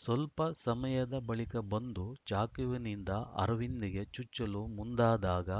ಸ್ವಲ್ಪ ಸಮಯದ ಬಳಿಕ ಬಂದು ಚಾಕುವಿನಿಂದ ಅರವಿಂದ್‌ಗೆ ಚುಚ್ಚಲು ಮುಂದಾದಾಗ